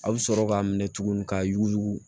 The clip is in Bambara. A bɛ sɔrɔ k'a minɛ tuguni k'a yuguyugu